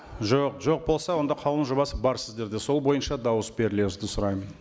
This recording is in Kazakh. жоқ жоқ болса онда қаулының жобасы бар сіздерде сол бойынша дауыс берулеріңізді сұраймын